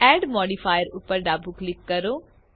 add modifier ઉપર ડાબું click કરો